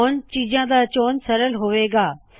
ਹੁਣ ਚੀਜਾਂ ਦਾ ਚੋਣ ਸਰਲ ਹੋਵੇ ਗਾ